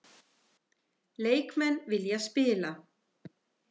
Leikmenn vilja spila